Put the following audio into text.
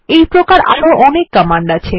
এইপ্রকার আরো অনেক কমান্ড আছে